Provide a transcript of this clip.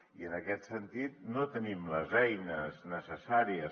i en aquest sentit no tenim les eines necessàries